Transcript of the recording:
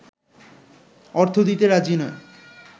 অর্থ দিতে রাজি নয়